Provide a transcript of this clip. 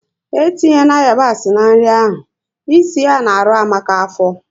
É tinye na yabasi na nri ahụ! É si ya na arụ Amaka afọ